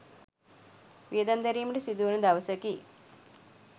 වියදම් දැරීමට සිදුවන දවසකි.